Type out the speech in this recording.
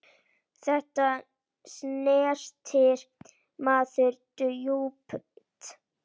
Þetta snerti mann djúpt.